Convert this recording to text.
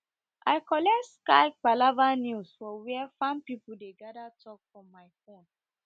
i collect sky palava news for where farm people dey gather talk for my fone